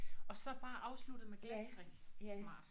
Og så bare afsluttet med glatstrik. Smart